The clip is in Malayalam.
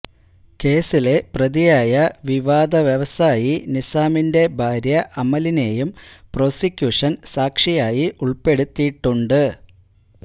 കേസിലെ പ്രതിയായ വിവാദ വ്യവസായി നിസാമിന്റെ ഭാര്യ അമലിനേയും പ്രോസിക്യൂഷൻ സാക്ഷിയായി ഉൾപെടുത്തിയിട്ടുണ്ട്